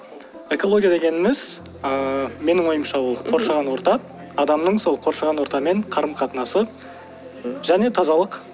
экология дегеніміз ыыы менің ойымша ол қоршаған орта адамның сол қоршаған ортамен қарым қатынасы және тазалық